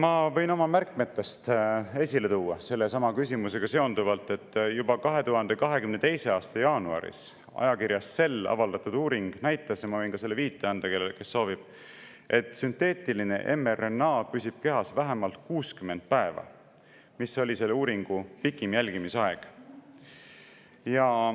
Ma võin oma märkmetest esile tuua sellesama küsimusega seonduvalt, et juba 2022. aasta jaanuaris ajakirjas Cell avaldatud uuring näitas – ma võin selle viite anda, kui keegi soovib –, et sünteetiline mRNA püsib kehas vähemalt 60 päeva, mis oli selle uuringu pikim jälgimisaeg.